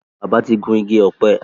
bàbá tí gún Igi ọ̀pẹ.